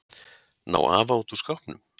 Ná afa út úr skápnum?